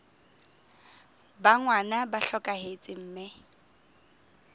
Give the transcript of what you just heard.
ba ngwana ba hlokahetse mme